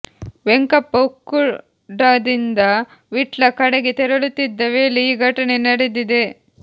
ವೆಂಕಪ್ಪ ಉಕ್ಕುಡದಿಂದ ವಿಟ್ಲ ಕಡೆಗೆ ತೆರಳುತ್ತಿದ್ದ ವೇಳೆ ಈ ಘಟನೆ ನಡೆದಿದೆ